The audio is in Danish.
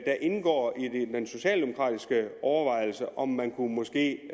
der indgår i den socialdemokratiske overvejelse om at man måske